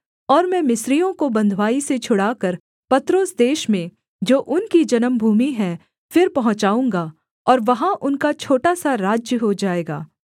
और मैं मिस्रियों को बँधुआई से छुड़ाकर पत्रोस देश में जो उनकी जन्मभूमि है फिर पहुँचाऊँगा और वहाँ उनका छोटा सा राज्य हो जाएगा